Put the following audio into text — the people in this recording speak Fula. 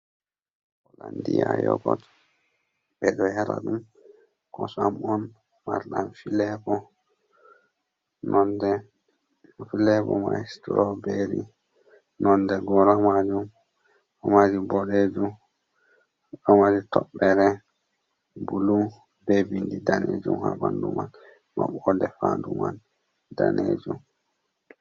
Holandiya yogot ɓe ɗo yara ɗum kosam on mardam filebo. Nonde filebo mai stroberi, nonde gora majum ɗo mari boɗejum ɗo mari toɓɓere bulu be bindi danejum ha ɓandu mai, maɓɓode fandu mai danejum.